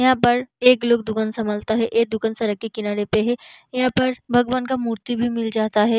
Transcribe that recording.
यहाँ पर एक लोग दुकान संभालता है ये दुकान सड़क के किनारे पे है यहाँ पर भगवान का मूर्ति भी मिल जाता है।